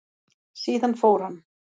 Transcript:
Síðan fór hann.